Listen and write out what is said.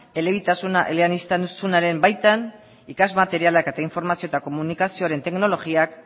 elebitasuna eleaniztasunaren baitan ikas materialak eta informazio eta komunikazioaren teknologiak